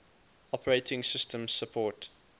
operating systems support